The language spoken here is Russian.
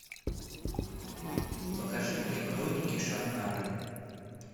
покажи мне хроники шаннары